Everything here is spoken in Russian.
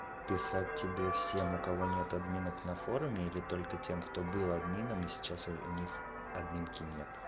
писать тебе всем у кого нет админок на форуме или только тем кто был админом и сейчас у них админки нет